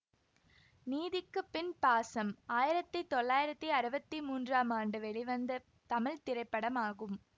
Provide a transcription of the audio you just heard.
நீதிக்குப்பின் பாசம் ஆயிரத்தி தொள்ளாயிரத்தி அறுவத்தி மூன்றாம் ஆண்டு வெளிவந்த தமிழ் திரைப்படமாகும்